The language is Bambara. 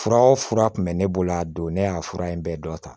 Fura o fura tun bɛ ne bolo a don ne y'a fura in bɛɛ dɔn